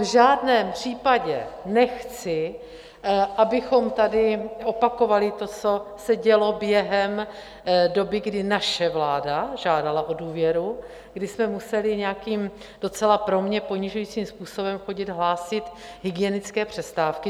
V žádném případě nechci, abychom tady opakovali to, co se dělo během doby, kdy naše vláda žádala o důvěru, kdy jsme museli nějakým docela pro mě ponižujícím způsobem chodit hlásit hygienické přestávky.